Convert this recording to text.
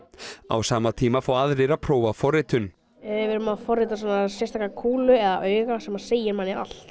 á sama tíma fá aðrir að prófa forritun við erum að forrita svona sérstaka kúlu eða auga sem segir manni allt